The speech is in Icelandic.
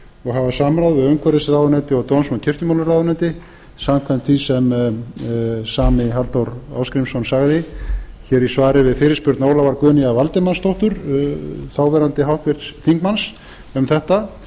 og hafa samráð við utanríkisráðuneyti og dóms og kirkjumálaráðuneyti samkvæmt því sem sami halldór ásgrímsson sagði í svari við fyrirspurn ólafar guðnýjar valdimarsdóttur þáv háttvirts þingmanns um þetta